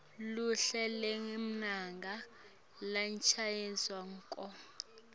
luhlu lwemagama lachazwako